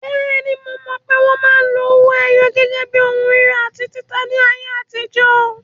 Bẹ́ẹ̀ni, mo mọ̀ pé wọn máa ń lo owó ẹyọ gẹ́gẹ́ bí ohun rírà àti títà ní ayé àtijọ́.